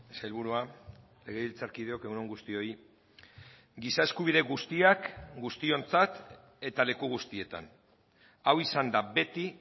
sailburua legebiltzarkideok egun on guztioi giza eskubide guztiak guztiontzat eta leku guztietan hau izan da beti